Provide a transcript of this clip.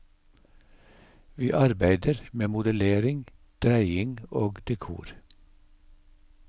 Vi arbeider med modellering, dreiing og dekor.